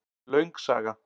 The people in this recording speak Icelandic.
Löng saga